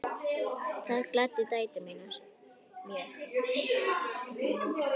Það gladdi dætur mínar mjög.